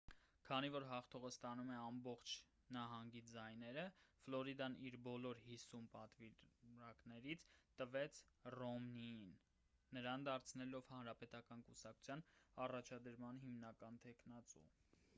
քանի որ հաղթողը ստանում է ամբողջ նահանգի ձայները ֆլորիդան իր բոլոր հիսուն պատվիրակներին տվեց ռոմնիին նրան դարձնելով հանրապետական կուսակցության առաջադրման հիմնական թեկնածու